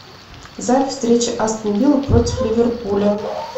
запись встречи астон вилла против ливерпуля